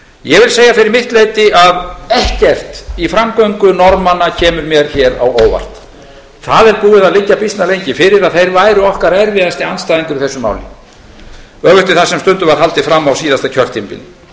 ég vil segja fyrir mitt leyti að ekkert í framgöngu norðmanna kemur mér hér á óvart það er búið að liggja býsna lengi fyrir að þeir væru okkar erfiðasti andstæðingur í þessu máli öfugt við það sem stundum var haldið fram á síðasta kjörtímabili